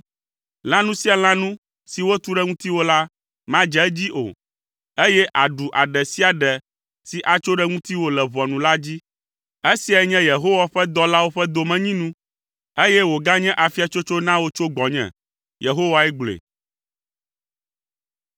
lãnu sia lãnu si wotu ɖe ŋutiwò la, madze edzi o, eye àɖu aɖe sia aɖe si atso ɖe ŋutiwò le ʋɔnu la dzi. Esiae nye Yehowa ƒe dɔlawo ƒe domenyinu, eye wòganye afiatsotso na wò tso gbɔnye,” Yehowae gblɔe.